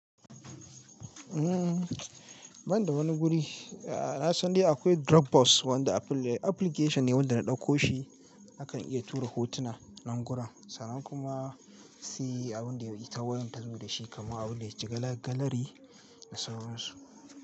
Uhm, banda wani guri. A'a na san dai akwai Dropbox, wanda apple ne, application ne wanda na ɗakko shi, akan iya tura hotuna, nan gurun, sannan kuma sai abun da ita wayan ta zo da shi, kamar abin da ya ci galari da sauransu.